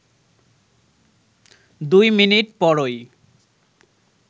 দুই মিনিট পরই